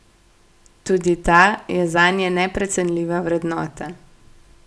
Tudi ta je zanje neprecenljiva vrednota.